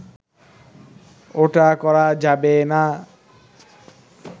ওটা করা যাবে না